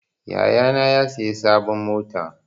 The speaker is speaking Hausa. Yaya na ya siya sabon mota.